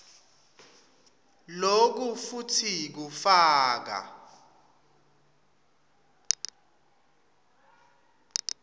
loku futsi kufaka